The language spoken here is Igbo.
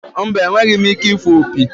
Mba, enweghị m ike ịfụ opi.